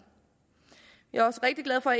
vi er også rigtig glade for